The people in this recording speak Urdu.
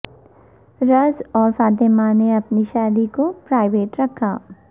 رز اور فاطمہ نے اپنی شادی کو پرائیوٹ رکھا